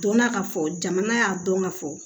Dɔnna ka fɔ jamana y'a dɔn ka fɔ